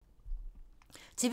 TV 2